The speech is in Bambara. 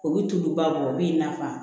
O bɛ tuluba bɔ o b'i nafa